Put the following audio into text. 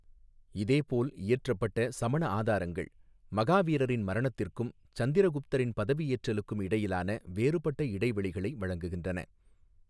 இதேபோல், இயற்றப்பட்ட சமண ஆதாரங்கள் மகாவீரரின் மரணத்திற்கும் சந்திரகுப்தரின் பதவியேற்றலுக்கும் இடையிலான வேறுபட்ட இடைவெளிகளை வழங்குகின்றன.